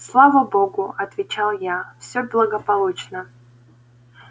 слава богу отвечал я все благополучно